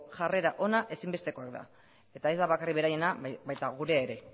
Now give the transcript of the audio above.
jarrera ona ezinbestekoa da eta ez bakarrik beraiena baita gurea ere